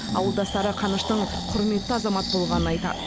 ауылдастары қаныштың құрметті азамат болғанын айтады